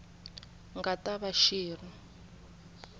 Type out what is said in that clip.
nga ta va xi ri